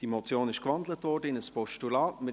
Die Motion wurde in ein Postulat gewandelt.